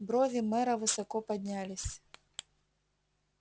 брови мэра высоко поднялись